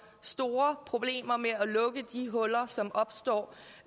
store problemer med at lukke de huller som opstår